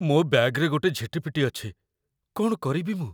ମୋ ବ‍୍ୟାଗ୍‌ରେ ଗୋଟେ ଝିଟିପିଟି ଅଛି । କ'ଣ କରିବି ମୁଁ?